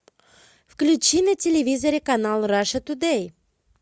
включи на телевизоре канал раша тудей